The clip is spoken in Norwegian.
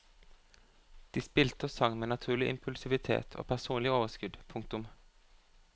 De spilte og sang med naturlig impulsivitet og personlig overskudd. punktum